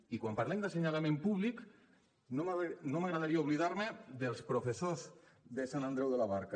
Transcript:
i quan parlem d’assenyalament públic no m’agradaria oblidar me dels professors de sant andreu de la barca